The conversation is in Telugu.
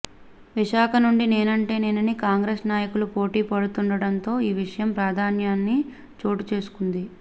విశాఖ నుండి నేనంటే నేనని కాంగ్రెస్ నాయకులు పోటి పడుతుండడంతో ఈ విషయం ప్రాధాన్యాన్ని చోటుచేసుకుంది